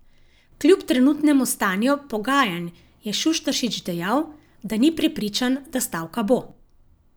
Kljub trenutnemu stanju pogajanj je Šuštaršič dejal, da ni prepričan, da stavka bo.